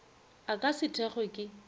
a ka se thekgwe ke